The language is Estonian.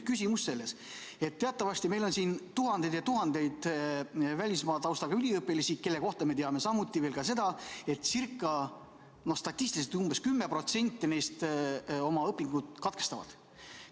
Küsimus on selles, et teatavasti on meil siin tuhandeid ja tuhandeid välismaa taustaga üliõpilasi, kelle kohta me teame ka seda, et statistiliselt umbes 10% neist oma õpingud katkestavad.